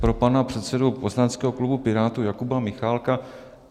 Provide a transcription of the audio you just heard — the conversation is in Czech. Pro pana předsedu poslaneckého klubu Pirátů Jakuba Michálka.